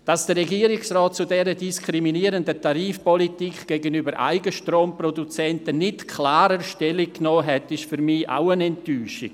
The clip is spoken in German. Dass der Regierungsrat zu dieser diskriminierenden Tarifpolitik gegenüber Eigenstromproduzenten nicht klarer Stellung genommen hat, ist für mich auch eine Enttäuschung.